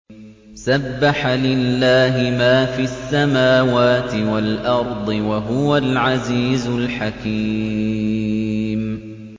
سَبَّحَ لِلَّهِ مَا فِي السَّمَاوَاتِ وَالْأَرْضِ ۖ وَهُوَ الْعَزِيزُ الْحَكِيمُ